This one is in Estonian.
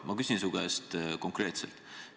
Ma küsin su käest konkreetselt.